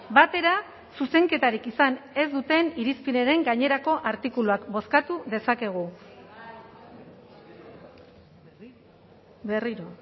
batera zuzenketarik izan ez duten irizpenaren gainerako artikuluak bozkatu dezakegu berriro